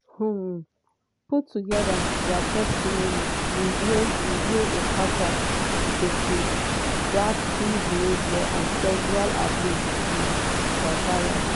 um put togeda dia testimonies reveal reveal a pattern of predatory behaviour and sexual abuse um by fayed.